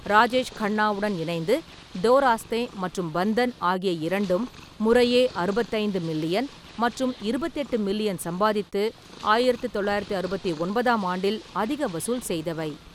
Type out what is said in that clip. ராஜேஷ் கன்னாவுடன் இணைந்து டோ ராஸ்தே மற்றும் பந்தன் ஆகிய இரண்டும் முறையே அறுபத்தைந்து மில்லியன் மற்றும் இருபத்தெட்டு மில்லியன் சம்பாதித்து ஆயிரத்து தொள்ளாயிரத்து அறுபத்தி ஒன்பதாம் ஆண்டில் அதிக வசூல் செய்தவை.